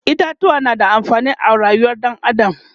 itatuwa na da amfani a rayuwar ɗan adam